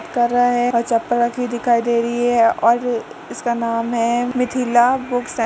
कर रहा है और चपल रखी हुई दिखाई दे रही है और इसका नाम है मिथिला बुक से --